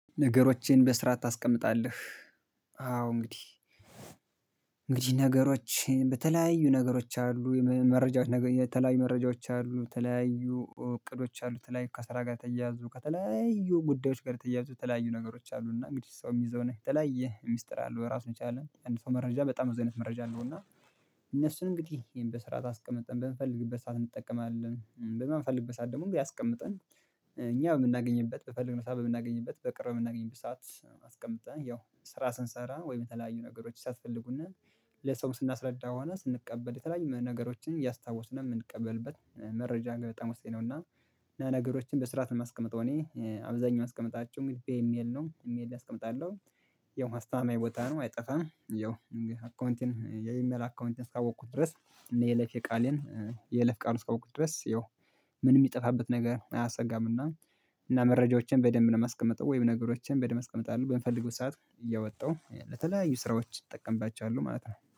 ነገሮቼን በስርዓት ታስቀምጣለህ? አዎ እንግዲህ ነገሮች በተለያዩ ነገሮች አሉ የመረጃዎች ነገር የተለያዩ መረጃዎች አሉ፤ ተለያዩ እቅዶች አሉ፤ ተለያዩ ከስራ ጋር ተያያዙ ከተለያዩ ጉዳዮች ጋር ተያያዙ የተለያዩ ነገሮች አሉና እንግዲህ ሰው የሚይዘው ነህ ተለያየ ሚስጥር አለው ራሱን የቻለ አንድ ሰው መረጃ በጣም እዚህ አይነት መረጃ አለው እና እነሱን እንግዲህ ይሄን በስራ ታስቀምጠን በምፈልግበት ሰዓት እንጠቀማለን በማንፈልግበት ሰዓት ደግሞ ያስቀምጠን እኛ የምናገኝበት በፈለግነው ሰዓት የምናገኝበት በቅርብ የምናገኝበት ሰዓት አስቀምጠን ያው ስራ ስንሰራ ወይ የተለያዩ ነገሮች ሲያስፈልጉን ለሰው ስናስረዳ ሆነ ስንቀበል የተለያዩ ነገሮችን እያስታወስን የምንቀበልበት መረጃ ግን በጣም ወሳኝ ነው እና ነገሮችን በስርዓት ነው የማስቀምጠው እኔ። አብዛኛው አስቀምጣችሁ በኢሜል ነው ኢሜል ላይ አስቀምጣለሁ። ያው አስታማኝ ቦታ ነው አይጠፋም ያው አካውንቴን የኢሜል አካውንቴን እስካወቅኩት ድረስ እኔ የይለፌ ቃሌን የለፍ ቃል እስካወኩ ድረስ ያው ምን የሚጠፋበት ነገር አያሰጋምና እና መረጃዎችን በደንብ ነው የማስቀምጠው ወይም ነገሮችን በደንብ አስቀምጣለሁ። በምፈልገው ሰዓት እያወጣሁ ለተለያዩ ስራዎች እጠቀምባቸዋለሁ ማለት ነው።